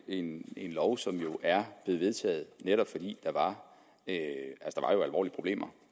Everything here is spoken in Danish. en lov som er blevet vedtaget netop fordi der var alvorlige problemer